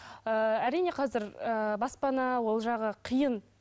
ііі әрине қазір ііі баспана ол жағы қиын